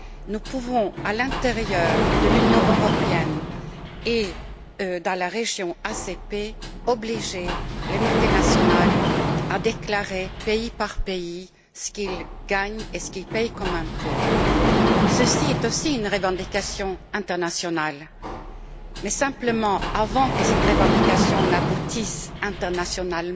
Nous pouvons, à l'intérieur de l'Union européenne et dans la région ACP, obliger les multinationales à déclarer, pays par pays, ce qu'elles gagnent et ce qu'elles paient comme impôts. Cela est aussi une revendication internationale. Mais simplement, avant que cette revendication n'aboutisse au niveau international,